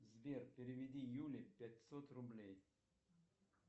сбер переведи юле пятьсот рублей